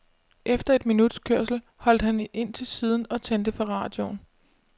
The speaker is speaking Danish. Efter et minuts kørsel holdt han ind til siden og tændte for radioen.